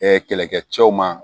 kɛlɛkɛ cɛw ma